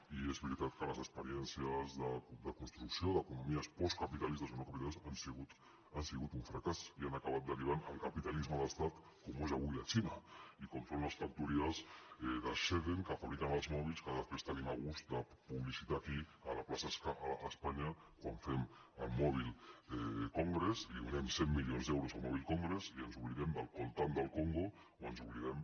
i és veritat que les experiències de construcció d’economies postcapitalistes o neocapitalistes han sigut un fracàs i han acabat derivant en capitalisme d’estat com ho és avui la xina i com ho són les factories de shenzhen que fabriquen els mòbils que després tenim el gust de publicitar aquí a la plaça d’espanya quan fem el mobile congress li donem cent milions d’euros al mobile congress i ens oblidem tant del congo o ens oblidem